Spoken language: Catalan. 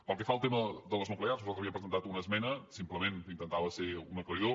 pel que fa al tema de les nuclears nosaltres havíem presentat una esmena simplement intentava ser un aclaridor